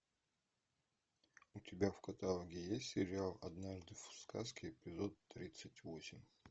у тебя в каталоге есть сериал однажды в сказке эпизод тридцать восемь